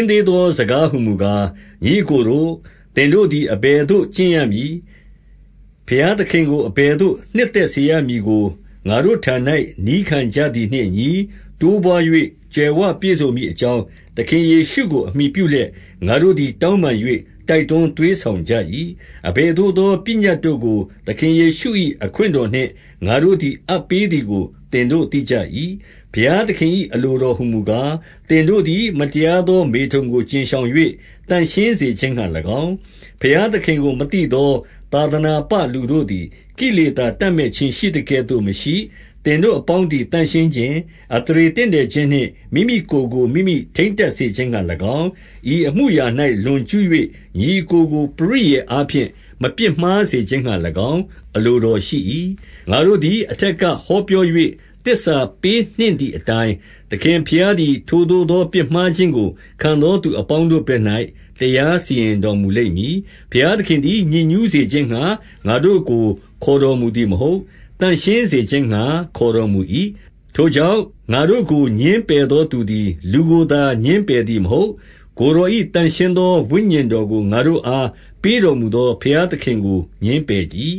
င်းသေးသော စကားဟူမူကား၊ ညီအစ်ကိုတို့၊ သင်တို့သည် အဘယ်သို့ ကျင့်ရမည်၊ ဘုရားသခင်ကို အဘယ်သို့နှစ်သက်စေရမည်ကို ငါတို့ထံ၌ နည်းခံကြသည်နှင့်အညီ တိုးပွါး၍ ကြွယ်ဝပြည့်စုံမည်အကြောင်း၊ သခင်ယေရှုကိုအမှီပြုလျက်၊ ငါတို့သည် တောင်းပန်၍ တိုက်တွန်းသွေးဆောင်ကြ၏။ 2 အဘယ်သို့သော ပညတ်တို့ကို သခင်ယေရှု၏အခွင့်တော်နှင့် ငါတို့သည်အပ်ပေးသည်ကို သင်တို့သိကြ ၏။ 3 ဘုရားသခင်၏ အလိုတော်ဟူမူကား၊ သင်တို့သည် မတရားသောမေထုန်ကို ကြဉ်ရှောင်၍ သန့်ရှင်းစေ ခြင်းငှါ၎င်း၊ 4 ဘုရားသခင်ကို မသိသော သာသနာပလူတို့သည် ကိလေသာ တပ်မက်ခြင်းရှိသကဲ့သို့မရှိ၊ 5 သင်တို့အပေါင်းသည် သန့်ရှင်းခြင်း၊ အသရေတင့်တယ်ခြင်းနှင့် မိမိကိုယ်ကို မိမိထိန်းတက်စေခြင်း ငှါ၎င်း၊ 6 ဤအမှုအရာ၌ လွန်ကျူး၍ ညီအစ်ကိုကို ပရိယာယ်အားဖြင့် မပြစ်မှားစေခြင်းငှါ၎င်း၊ အလိုတော် ရှိ၏။ ငါတို့သည် အထက်က ဟောပြော၍ သစ္စာပေးနှင့်သည်အတိုင်း၊ သခင်ဘုရားသည် ထိုသို့သော ပြစ်မှားခြင်းကိုခံသောသူအပေါင်းတို့ဘက်၌ တရားစီရင်တော်မူလိမ့်မည်။ 7 ဘုရားသခင်သည် ညစ်ညူးစေခြင်းငှါ ငါတို့ကို ခေါ်တော်မူသည်မဟုတ်၊ သန့်ရှင်းစေခြင်းငှါ ခေါ်တော်မူ၏။ 8 ထိုကြောင့်၊ ငါတို့ကိုငြင်းပယ်သောသူသည် လူကိုသာ ငြင်းပယ်သည်မဟုတ်၊ ကိုယ်တော်၏ သန့်ရှင်း သောဝိညာဉ်တော်ကို ငါတို့အား ပေးတော်မူသော ဘုရားသခင်ကို ငြင်းပယ်၏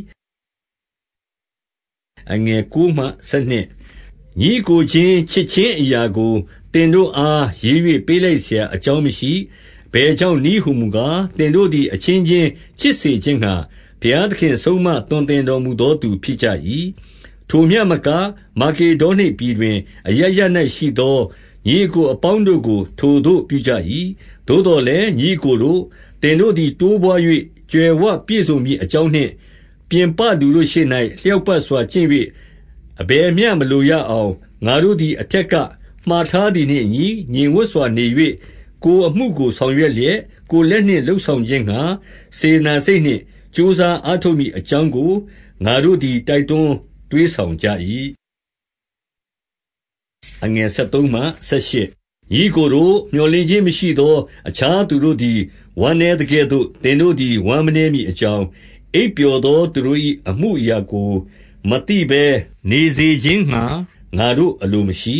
။ 9 ညီအစ်ကိုချင်း ချစ်ခြင်းအရာကို သင်တို့အား ရေး၍ပေးလိုက်စရာအကြောင်းမရှိ။ အဘယ်ကြောင့် နည်းဟူမူကား ၊ သင်တို့သည် အချင်းချင်းချစ်စေခြင်းငှါ၊ ဘုရားသခင် ဆုံးမသွန်သင်တော်မူသော သူဖြစ်ကြ၏။ 10 ထိုမျှမက၊ မာကေဒေါနိပြည်တွင် အရပ်ရပ်၌ရှိသော ညီအစ်ကိုအပေါင်းတို့ကို ထိုသို့ပြုကြ၏။ သို့သော် လည်း၊ ညီအစ်ကိုတို့၊ သင်တို့သည် တိုးပွါး၍ ကြွယ်ဝပြည့်စုံမည်အကြောင်းနှင့် ၊ 11 ပြင်ပလူတို့ရှေ့၌ လျောက်ပတ်စွာကျင့်၍ အဘယ်မျှ မလိုရအောင်၊ 12 ငါတို့သည် အထက်က မှာထားသည်နှင့်အညီ ငြိမ်ဝပ်စွာနေ၍၊ ကိုယ်အမှုကို ဆောင်ရွက်လျက်၊ ကိုယ်လက်နှင့် လုပ်ဆောင်ခြင်းငှါ စေတနာစိတ်နှင့် ကြိုးစားအားထုတ်မည်အကြောင်းကို၊ ငါတို့သည် တိုက်တွန် 13 ညီအစ်ကိုတို့၊ မြော်လင့်ခြင်းမရှိသော အခြားသူတို့သည် ဝမ်းနည်းသကဲ့သို့၊ သင်တို့သည် ဝမ်းမနည်းမည်အကြောင်း၊ အိပ်ပျော်သော သူတို့၏ အမှုအရာကို မသိဘဲနေစေခြင်းငှါ ငါတို့အလိုမရှိ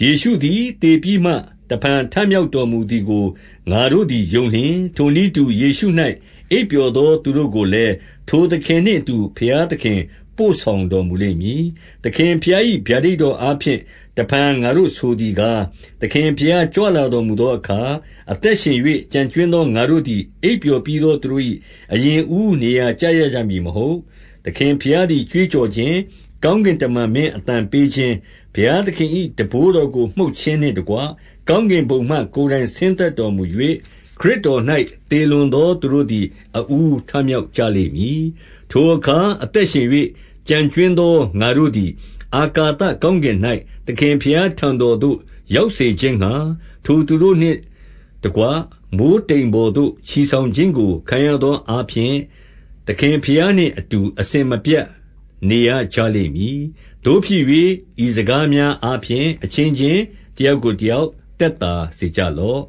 ၊ 14 ယေရှုသည် သေပြီးမှ တဖန်ထမြောက်တော်မူသည်ကို ငါတို့သည် ယုံလျှင်၊ ထိုနည်းတူ ယေရှု၌ အိပ်ပျော်သောသူတို့ကိုလည်း၊ ထိုသခင်နှင့်အတူ ဘုရားသခင် ပို့ဆောင်တော်မူလိမ့်မည်။ 15 သခင်ဘုရား၏ ဗျာဒိတ်တော်အားဖြင့် တဖန် ငါတို့ဆိုသည်ကား၊ သခင်ဘုရား ကြွလာတော်မူသော အခါ၊ အသက်ရှင်၍ ကျန်ကြွင်းသော ငါတို့သည် အိပ်ပျော်ပြီးသော သူတို့၏ အရင်အဦးနေရာ ကျရကြ မည်မဟုတ်။ 16 သခင်ဘုရားသည် ကြွေးကြော်ခြင်း၊ ကောင်းကင်တမန်မင်းအသံပေးခြင်း၊ ဘုရားသခင်၏ တံပိုးတော် ကို မှုတ်ခြင်းနှင့်တကွ၊ ကောင်းကင်ဘုံမှ ကိုင်တိုင် ဆင်းသက်တော်မူ၍၊ ခရစ်တော်၌ သေလွန်သောသူတို့သည် အဦးထမြောက်ကြလိမ့်မည်။ 17 ထိုအခါ အသက်ရှင်၍ ကျန်ကြွင်းသော ငါတို့သည် အာကာသကောင်းကင်၌ သခင်ဘုရားထံတော်သို့ ရောက်စေခြင်းငှါ၊ ထိုသူတို့နှင့်တကွမိုဃ်းတိမ်ပေါ်သို့ ချီဆောင်ခြင်းကို ခံရသောအားဖြင့် သခင်ဘုရားနှင့် အတူ အစဉ်မပြတ် နေရကြလိမ့်မည်။ 18 သို့ဖြစ်၍၊ ဤစကားများအားဖြင့် အချင်းချင်း တယောက်ကိုတယောက် သက်သာစေကြလော့